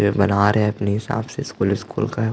ये बना रहै है अपने हिसाब से स्कूल उसकूल का है।